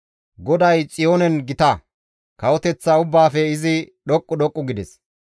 GODAY Xiyoonen gita; kawoteththa ubbaafe izi dhoqqu dhoqqu gides.